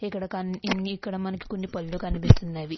ఇక్కడ కన్నీ ఇక్కడ మనకి కొన్ని పనులు కనిపిస్తున్నవి.